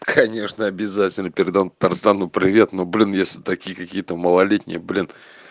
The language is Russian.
конечно обязательно передам тарзану привет но блин если такие какие-то малолетние блин